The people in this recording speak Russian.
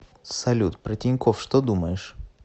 салют про тинькофф что думаешь